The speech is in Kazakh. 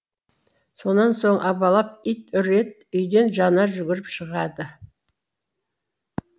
сонан соң абалап ит үреді үйден жанар жүгіріп шығады